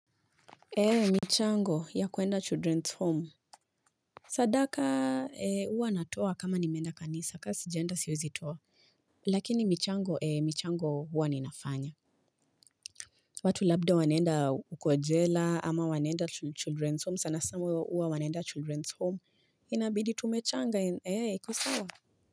Eeh, michango ya kwenda children's home Sadakaaa eeh, huwa natoa kama nimeenda kanisa ka sijenda siwezitoa, lakini michango ee michango huwa ninafanya. Watu labda wanaenda huko jela ama wanaenda chi children's home, sanasana huwa wanaenda children's home inabidi tumechanga ee, eeh, ikosawa.